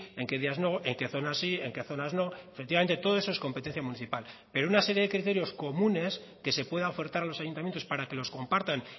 en que días no en qué zonas sí en qué zonas no efectivamente todo eso es competencia municipal pero una serie de criterios comunes que se pueda ofertar a los ayuntamientos para que los compartan